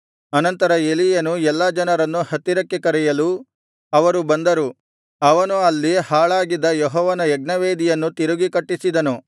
ಅನಂತರ ಎಲೀಯನು ಎಲ್ಲಾ ಜನರನ್ನು ಹತ್ತಿರಕ್ಕೆ ಕರೆಯಲು ಅವರು ಬಂದರು ಅವನು ಹಾಳಾಗಿದ್ದ ಅಲ್ಲಿ ಯೆಹೋವನ ಯಜ್ಞವೇದಿಯನ್ನು ತಿರುಗಿ ಕಟ್ಟಿಸಿದನು